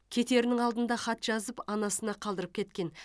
кетерінің алдында хат жазып анасына қалдырып кеткен